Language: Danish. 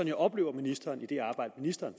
jeg oplever ministeren i det arbejde ministeren